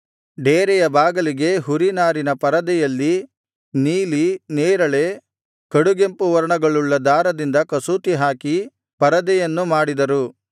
ಡೇರೆಯ ಬಾಗಿಲಿಗೆ ಹುರಿ ನಾರಿನ ಪರದೆಯಲ್ಲಿ ನೀಲಿ ನೇರಳೆ ಕಡುಗೆಂಪು ವರ್ಣಗಳುಳ್ಳ ದಾರದಿಂದ ಕಸೂತಿಹಾಕಿ ಪರದೆಯನ್ನು ಮಾಡಿದರು